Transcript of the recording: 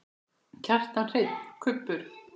Kjartan Hreinn: Kubbur?